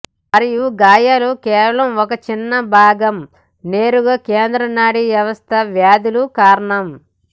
మరియు గాయాల కేవలం ఒక చిన్న భాగం నేరుగా కేంద్ర నాడీ వ్యవస్థ వ్యాధులు కారణం